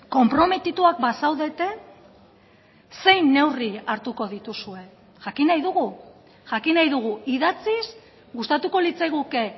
konprometituak bazaudete zein neurri hartuko dituzue jakin nahi dugu jakin nahi dugu idatziz gustatuko litzaiguke